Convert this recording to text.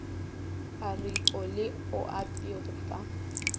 aripo le oapi go fa